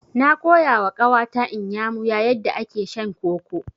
Na koyawa ƙawa ta Inyamuya yadda ake shan koko.